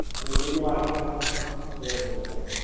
पण negative marking हा येव्हडाच पँट आहे त्याचा